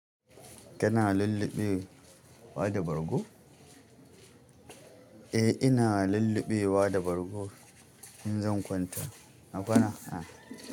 Kana lulluɓewa da bargo? Eh ina lulluɓewa da bargo in zan kwanta. Na kwana.